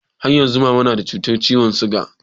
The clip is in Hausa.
Har yanzu mama na da cutar ciwon siga?